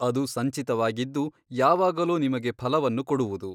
ಅದು ಸಂಚಿತವಾಗಿದ್ದು ಯಾವಾಗಲೋ ನಿಮಗೆ ಫಲವನ್ನು ಕೊಡುವುದು.